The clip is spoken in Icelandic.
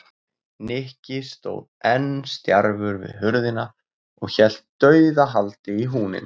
Nikki stóð enn stjarfur við hurðina og hélt dauðahaldi í húninn.